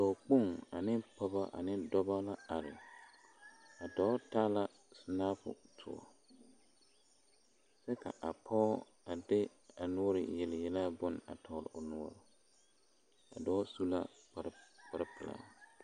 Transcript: Dɔɔkpoŋ ane pɔge ane dɔbɔ la are a dɔɔ taa la sinapɔ toɔ kyɛ ka a pɔge a de kyɛ a noɔre yele yelaa bone tɔgle o noɔre a dɔɔ su la kpare pelaa.